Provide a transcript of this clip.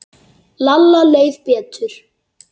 Lalla leið betur.